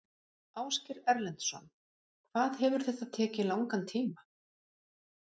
Ásgeir Erlendsson: Hvað hefur þetta tekið langan tíma?